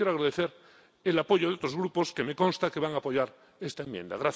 Y también quiero agradecer el apoyo de otros grupos que me consta que van a apoyar esta enmienda.